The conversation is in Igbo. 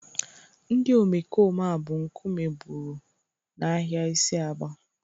Ndị omekome a bụ nkume gburu n'ahịa isi Aba